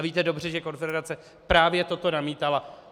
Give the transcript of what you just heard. A víte dobře, že konfederace právě toto namítala.